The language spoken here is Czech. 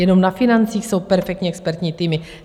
Jenom na financích jsou perfektní expertní týmy.